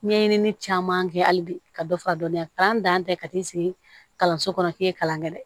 Ɲɛɲinili caman kɛ hali bi ka dɔ fara dɔɔnin kalan dan tɛ ka ti se kalanso kɔnɔ k'i ye kalan kɛ dɛ